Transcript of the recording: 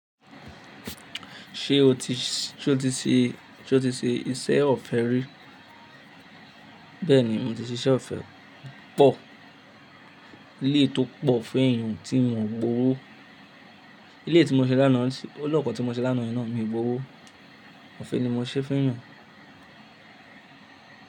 Ṣé o ti ṣe, ṣe o ti ṣe iṣẹ́ ọ̀fẹ́ rí? Bẹ́ẹ̀ ni, mo ti ṣe iṣẹ́ ọ̀fẹ́ pọ̀. Ilé tó pọ̀ fún èèyàn tí n mọ gbowó. Ilé tí mo ṣe lánàá, ọlọ́kọ̀ tí mo ṣe lánàá ná mi gbowó. Ọ̀fẹ́ ni mo ṣe fún èèyàn.